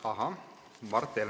Ahah!